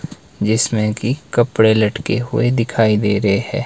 जिसमें की कपड़े लटके हुए दिखाई दे रहे हैं।